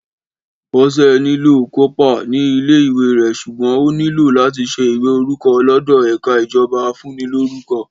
Bọ́sẹ̀ nílò kópa ní ilé ìwé rẹ̀ sùgbón o nílò làti ṣe ìwé orúkọ lódò èka ìjọba afúnilórúkọ